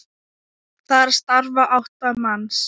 Þar starfa átta manns.